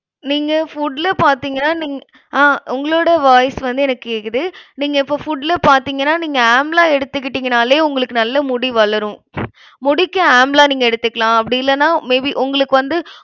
நீங்க food ல பாத்தீங்கன்னா நீங்~ ஆஹ் உங்களோட voice வந்து எனக்கு கேக்குது. நீங்க இப்போ food ல பாத்தீங்கன்னா நீங்க amla எடுத்துகிட்டீங்கன்னாலே உங்களுக்கு நல்ல முடி வளரும். முடிக்கு amla நீங்க எடுத்துக்கலாம். அப்படி இல்லேன்னா may be உங்களுக்கு வந்து